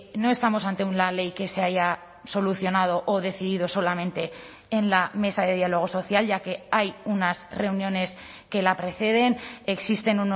no estamos ante una ley que se haya solucionado o decidido solamente en la mesa de diálogo social ya que hay unas reuniones que la preceden existen